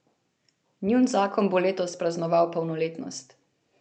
Njun zakon bo letos praznoval polnoletnost.